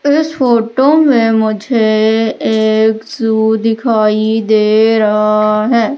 इस फोटो में मुझे एक जू दिखाई दे रहा है।